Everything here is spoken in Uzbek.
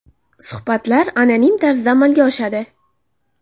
Suhbatlar anonim tarzda amalga oshadi.